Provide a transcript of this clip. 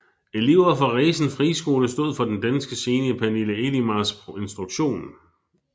Elever fra Resen Friskole stod for den danske scene i Pernille Elimars instruktion